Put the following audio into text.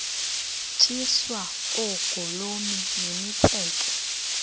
tyiswa oogolomi nemitseke